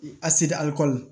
A seda alikɔli